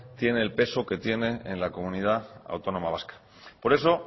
tiene el peso que tiene en la comunidad autónoma vasca por eso